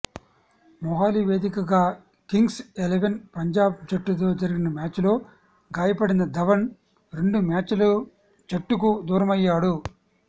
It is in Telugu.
మొహాలీ వేదికగా కింగ్స్ ఎలెవన్ పంజాబ్ జట్టుతో జరిగిన మ్యాచ్లో గాయపడిన ధవన్ రెండు మ్యాచ్లు జట్టుకు దూరమయ్యాడు